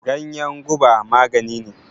Ganyan guba maganine.